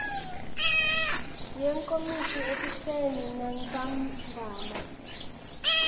yenkomishi ekuseni nantsambama